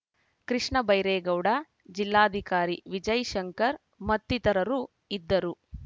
ಕೃಷ್ಣ ಬೈರೇಗೌಡ ಜಿಲ್ಲಾಧಿಕಾರಿ ವಿಜಯ್ ಶಂಕರ್ ಮತ್ತಿತರರು ಇದ್ದರು